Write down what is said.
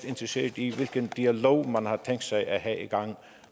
interesseret i hvilken dialog man har tænkt sig at have